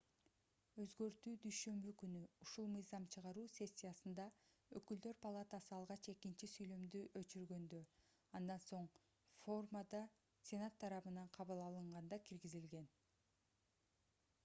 өзгөртүү дүйшөмбү күнү ушул мыйзам чыгаруу сессиясында өкүлдөр палатасы алгач экинчи сүйлөмдү өчүргөндө андан соң ошондой формада сенат тарабынан кабыл алынганда киргизилген